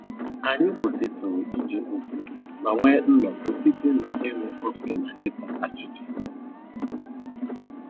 Anyị kwụsịtụrụ ije ozi ma nwee nnọkọ site na iñu kọfị na ịta achịcha